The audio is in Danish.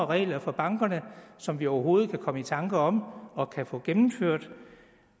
regler for bankerne som vi overhovedet kan komme i tanker om og kan få gennemført